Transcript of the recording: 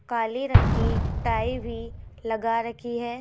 काले रंग की टाई भी लगा रखी है।